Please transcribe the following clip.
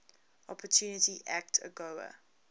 opportunity act agoa